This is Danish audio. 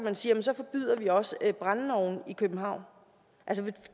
at sige at så forbyder vi også brændeovne i københavn